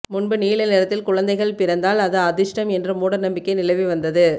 முன்பு நீல நிறத்தில் குழந்தைகள் பிறந்தால் அது அதிர்ஷ்டம் என்ற மூடநம்பிக்கை நிலவி வந்தது